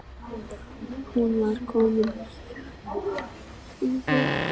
Hún var komin fjóra mánuði á leið.